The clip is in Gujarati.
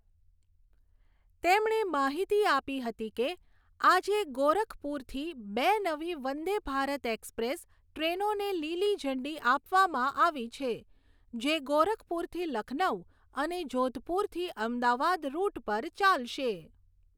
તેમણે માહિતી આપી હતી કે, આજે ગોરખપુરથી બે નવી વંદે ભારત એક્સપ્રેસ ટ્રેનોને લીલી ઝંડી આપવામાં આવી છે. જે ગોરખપુરથી લખનઉ અને જોધપુરથી અમદાવાદ રૂટ પર ચાલશે.